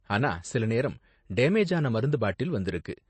ஆனா சில நேரம் டேமேஜ் ஆன மருந்து பாட்டில் வந்துருக்கு.